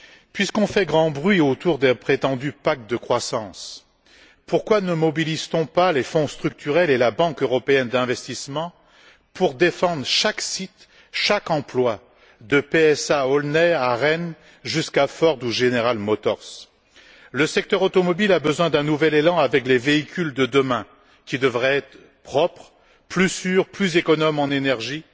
Puisqu'on fait grand bruit autour d'un prétendu pacte de croissance, pourquoi ne mobilise t on pas les Fonds structurels et la Banque européenne d'investissement pour défendre chaque site, chaque emploi de PSA à Aulnay, à Rennes, jusqu'à Ford ou General Motors? Le secteur automobile a besoin d'un nouvel élan avec les véhicules de demain qui devraient être propres, plus sûrs, plus économes en énergie